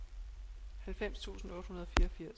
halvfems tusind otte hundrede og fireogfirs